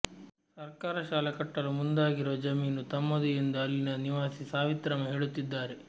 ಸರ್ಕಾರ ಶಾಲೆ ಕಟ್ಟಲು ಮುಂದಾಗಿರುವ ಜಮೀನು ತಮ್ಮದು ಎಂದು ಅಲ್ಲಿನ ನಿವಾಸಿ ಸಾವಿತ್ರಮ್ಮ ಹೇಳುತ್ತಿದ್ದಾರೆ